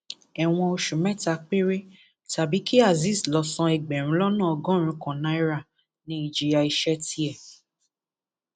ẹwọn oṣù mẹta péré tàbí kí azeez lọọ san ẹgbẹrún lọnà ọgọrùnún kan náírà ní ìjìyà ẹṣẹ tiẹ